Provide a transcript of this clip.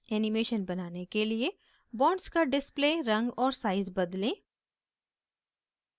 animation बनाने के लिए bonds का display रंग और size बदलें